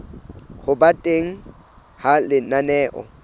ho ba teng ha lenaneo